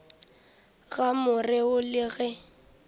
ga more wo le ge